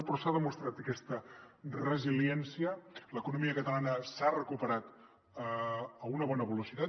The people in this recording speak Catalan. però s’ha demostrat aquesta resiliència l’economia catalana s’ha recuperat a una bona velocitat